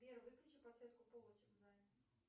сбер выключи подсветку полочек в зале